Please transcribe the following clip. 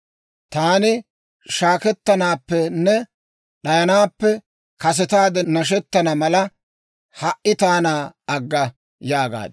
Taani shaakkettanaappenne d'ayanaappe, kasetaade nashettana mala, ha"i taana agga» yaagaad.